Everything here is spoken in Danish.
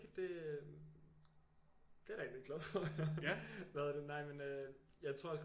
Det det er jeg da egentlig glad for at høre hvad hedder det nej men øhm jeg tror også